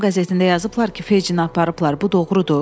“Axşam qəzetində yazıblar ki, Fejcini aparıblar, bu doğrudur?”